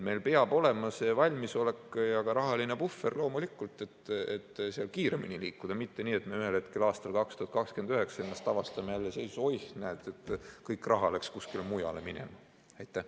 Meil peab olema see valmisolek ja ka rahaline puhver loomulikult, et seal kiiremini liikuda, mitte nii, et me ühel hetkel aastal 2029 avastame ennast jälle seisust, et oih, näed, kõik raha läks kuskile mujale minema.